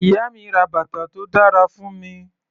Ìyá mi ra bàtà tó dára fún mi.